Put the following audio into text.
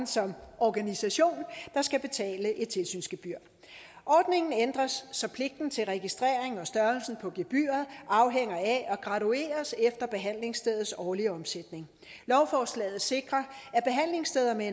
som organisation skal betale et tilsynsgebyr ordningen ændres så pligten til registrering og størrelsen af gebyret afhænger af og gradueres efter behandlingsstedets årlige omsætning lovforslaget sikrer at behandlingssteder med